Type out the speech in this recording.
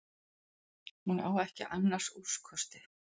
Hún á ekki annars úrkosti.